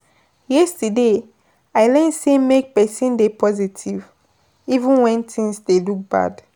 Yesterday, I learn sey make pesin dey positive, even wen tins dey look bad.